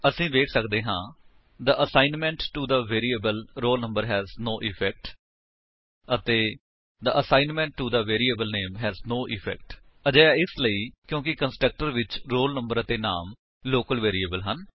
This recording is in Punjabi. ਅਸੀ ਵੇਖ ਸੱਕਦੇ ਹਾਂ the assignment to the variable roll number has no effect ਅਤੇ the assignment to the variable name has no effect ਅਜਿਹਾ ਇਸਲਈ ਕਿਉਂਕਿ ਕੰਸਟਰਕਟਰ ਵਿੱਚ ਰੋਲ ਨੰਬਰ ਅਤੇ ਨਾਮ ਲੋਕਲ ਵੇਰਿਏਬਲ ਹਨ